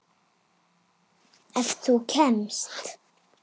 Ef þú kemst?